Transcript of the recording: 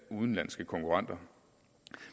udenlandske konkurrenter